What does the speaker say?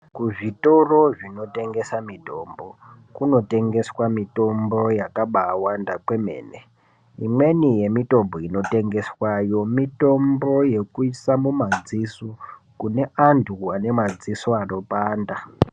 Kuzvitoro zvinotengesa mitombo kunotengeswa mitombo yakabaawanda kwemene imweni mitombo inotengeswayo ngeyekuisa mumadziso kune vanthu vane madziso anopanda.